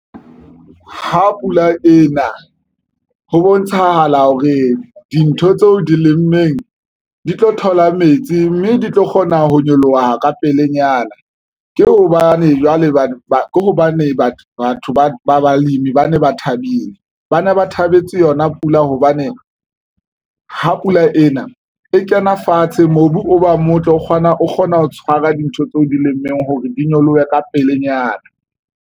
Ha pula ena ho bontshahala hore dintho tseo di lemeng di tlo thola metsi, mme di tlo kgona ho nyoloha ka pelenyana. Ke hobane jwale, hobane ke hobane batho ba ba balemi, ba ne ba thabile, ba ne ba thabetse yona. Pula hobane ha pula ena e kena fatshe mobu o ba motle o kgona ho tshwara dintho tseo o di lemmeng hore di nyolohe ka pelenyana.